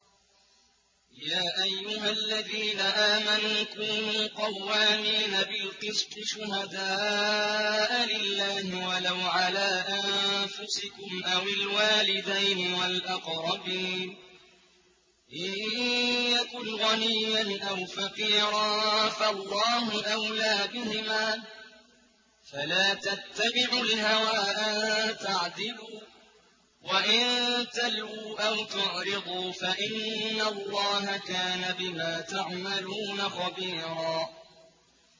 ۞ يَا أَيُّهَا الَّذِينَ آمَنُوا كُونُوا قَوَّامِينَ بِالْقِسْطِ شُهَدَاءَ لِلَّهِ وَلَوْ عَلَىٰ أَنفُسِكُمْ أَوِ الْوَالِدَيْنِ وَالْأَقْرَبِينَ ۚ إِن يَكُنْ غَنِيًّا أَوْ فَقِيرًا فَاللَّهُ أَوْلَىٰ بِهِمَا ۖ فَلَا تَتَّبِعُوا الْهَوَىٰ أَن تَعْدِلُوا ۚ وَإِن تَلْوُوا أَوْ تُعْرِضُوا فَإِنَّ اللَّهَ كَانَ بِمَا تَعْمَلُونَ خَبِيرًا